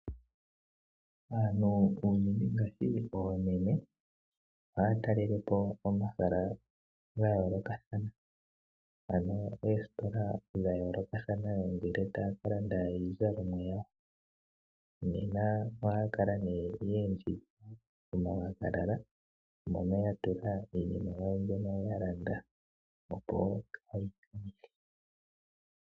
Aantu unene ngaashi oomeme ohaya talele po omahala ga yoolokathanaa, ano oositola dha yoolokathana ngele taya ka landa iizalomwa yawo. Nena ohaya kala ye endjidha omawagalala mono ya tula iinima yawo mbyono ya landa, opo kaayi tike.